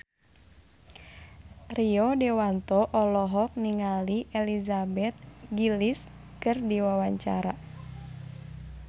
Rio Dewanto olohok ningali Elizabeth Gillies keur diwawancara